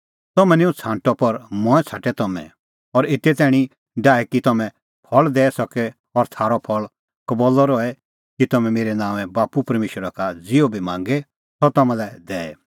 तम्हैं निं हुंह छ़ांटअ पर मंऐं छ़ांटै तम्हैं और एते तैणीं डाहै कि तम्हैं फल़ दैई सके और थारअ फल़ कबल्लअ रहे कि तम्हैं मेरै नांओंए बाप्पू परमेशरा का ज़िहअ बी मांगे सह तम्हां लै दैए